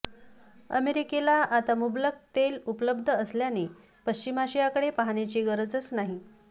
अमेरिकेला आता मुबलक तेल उपलब्ध असल्याने पश्चिम आशियाकडे पाहण्याची गरजच नाही